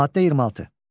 Maddə 26.